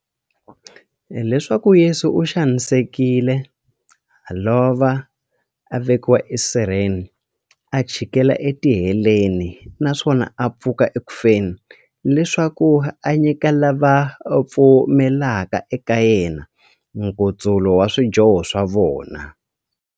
Leswaku Yesu u xanisekile, a lova, a vekiwa esirheni, a chikela etiheleni, naswona a pfuka eku feni, leswaku a nyika lava va pfumelaka eka yena, nkutsulo wa swidyoho swa vona.